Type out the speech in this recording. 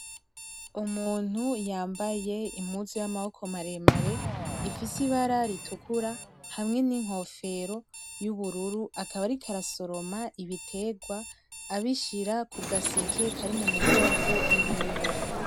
Umuntu yambaye impuzu y'amaboko maremare ifise ibara ritukura hamwe n'inkofero y'ubururu akaba ariko arasoroma ibiterwa abishira ku gaseke kari mu mugongo iwiwe.